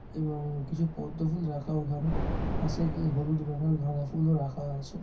এবং কিছু পদ্মফুল রাখা ওখানে পাশে যে হলুদ রঙের গাঁদা ফুলও রাখা আছে।